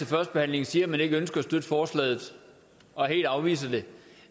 førstebehandlingen siger at man ikke ønsker at støtte forslaget og helt afviser det